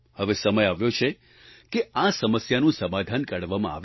હવે સમય આવ્યો છે કે આ સમસ્યાનું સમાધાન કાઢવામાં આવે